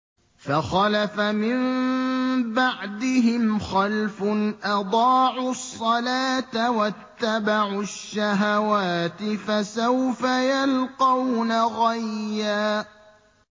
۞ فَخَلَفَ مِن بَعْدِهِمْ خَلْفٌ أَضَاعُوا الصَّلَاةَ وَاتَّبَعُوا الشَّهَوَاتِ ۖ فَسَوْفَ يَلْقَوْنَ غَيًّا